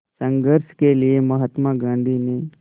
संघर्ष के लिए महात्मा गांधी ने